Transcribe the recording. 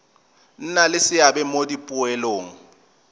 nna le seabe mo dipoelong